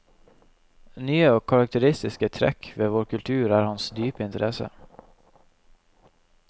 Nye og karakteristiske trekk ved vår kultur er hans dype interesse.